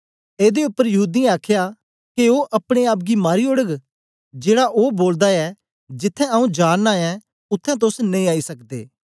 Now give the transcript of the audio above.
एदे उपर यहूदीयें आखया के ओ अपने आप गी मारी ओड़ग जेड़ा ओ बोलदा ऐ जिथें आऊँ जा नां ऐं उत्थें तोस नेई आई सकदे